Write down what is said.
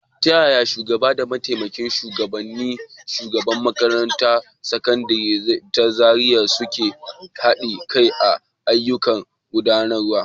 Ta yaya shugaba da mataimakin shugaban makarantar Sakandare ta Zariya suka haɗa kai kan ayyukan gudanarwa.